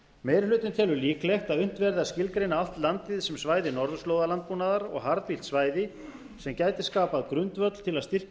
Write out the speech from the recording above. meiri hlutinn telur líklegt að unnt verði að skilgreina allt landið sem svæði norðurslóðalandbúnaðar og harðbýlt svæði sem gæti skapað grundvöll til að styrkja